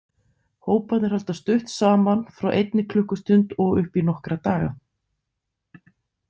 Hóparnir halda stutt saman, frá einni klukkustund og upp í nokkra daga.